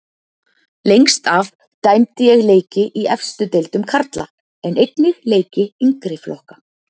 Lengst af dæmdi ég leiki í efstu deildum karla en einnig leiki yngri flokka.